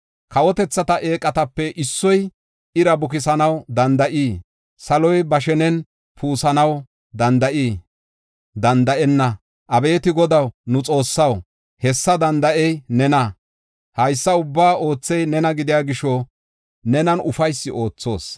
Kawotethata eeqatape issoy ira bukisanaw danda7ii? Saloy ba shenen puusanaw danda7ii? Danda7enna! Abeeti Godaw, nu Xoossaw, hessa danda7ey nena! Haysa ubbaa oothey nena gidiya gisho nenan ufaysi oothoos.